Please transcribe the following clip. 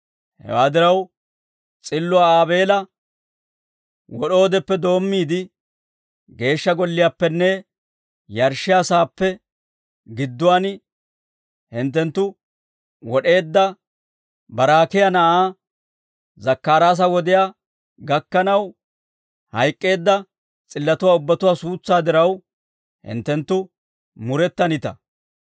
Hewaa diraw, s'illuwaa Aabeela wod'oodeppe doommiide, Geeshsha Golliyaappenne yarshshiyaa saappe gidduwaan hinttenttu wod'eedda Baraakiyaa na'aa Zakkaraasa wodiyaa gakkanaw, hayk'k'eedda s'illatuwaa ubbatuwaa suutsaa diraw, hinttenttu murettanita.